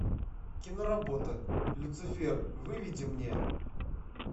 киноработа люцифер выведи мне